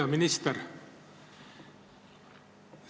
Hea minister!